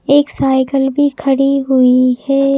एक साइकिल भी खड़ी हुई है।